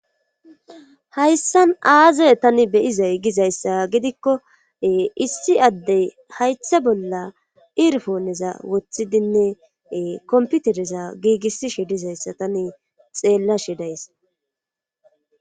Hayssan aaze tani beyizay gizayssa gidikko issi addey haytha bolla irfooneza woththidinne komputereza giigissishe dizayssa tani xeella shidays.